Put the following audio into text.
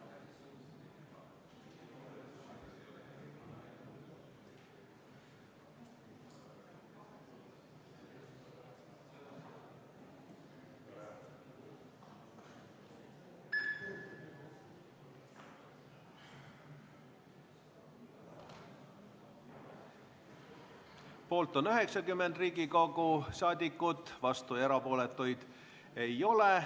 Hääletustulemused Poolt on 90 Riigikogu liiget, vastuolijaid ja erapooletuid ei ole.